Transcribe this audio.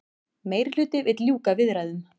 Meirihluti vill ljúka viðræðum